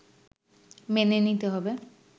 মেনে নিতে হবে